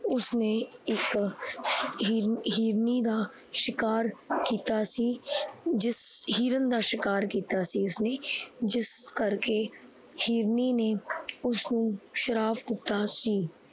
ਉਸਨੇ ਇੱਕ ਹਿਰਾਨੀ ਦਾ ਸ਼ਿਕਾਰ ਕੀਤਾ ਸੀ, ਜਿਸ ਹਿਰਨ ਦਾ ਸ਼ਿਕਾਰ ਕੀਤਾ ਸੀ ਉਸਨੇ ਜਿਸ ਕਰਕੇ ਹਿਰਨੀ ਨੇ ਉਸਨੂੰ ਸ਼ਰਾਪ ਦਿੱਤਾ ਸੀ।